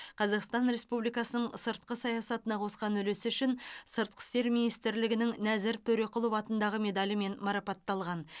қазақстан республикасының сыртқы саясатына қосқан үлесі үшін сыртқы істер министрлігінің нәзір төреқұлов атындағы медалімен марапатталған